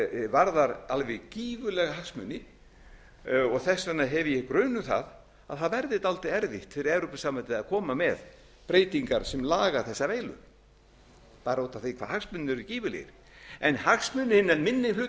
varðar alveg gífurlega hagsmuni þess vegna hef ég grun um það að það verði dálítið erfitt fyrir evrópusambandið að koma með breytingar sem laga þessa veilu bara út af því hvað hagsmunirnir eru gífurlegir en hagsmunir hinna minni